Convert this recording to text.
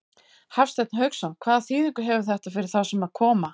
Hafsteinn Hauksson: Hvaða þýðingu hefur þetta fyrir þá sem að koma?